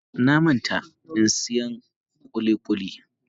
A'a, na manta in siyan kulikuli.